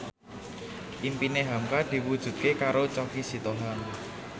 impine hamka diwujudke karo Choky Sitohang